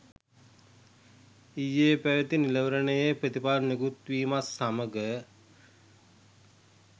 ඊයේ පැවති නිලවරණයේ ප්‍රතිඵල නිකුත් වීමත් සමඟ